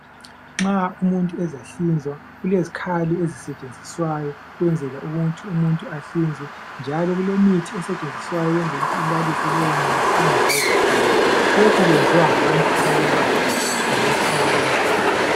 Nxa umuntu ezahlinzwa kulezkhali ezisetshenziswayo kwenzela ukuthi umuntu ahlinzwe. Njalo kulemithi esetshnziswayo ukwenzel' ukuthi ilalise lowo muntu angezwa buhlungu. Lokhu kwenziwa ngabantu abalolwazi ngalokhu abakwenzayo.